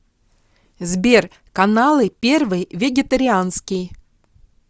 сбер каналы первый вегетарианский